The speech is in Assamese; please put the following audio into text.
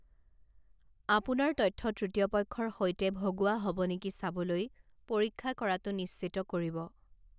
আপোনাৰ তথ্য তৃতীয় পক্ষৰ সৈতে ভগোৱা হ'ব নেকি চাবলৈ পৰীক্ষা কৰাটো নিশ্চিত কৰিব।